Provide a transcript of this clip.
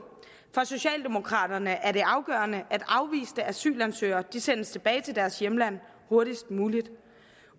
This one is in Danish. for socialdemokraterne er det afgørende at afviste asylansøgere sendes tilbage til deres hjemland hurtigst muligt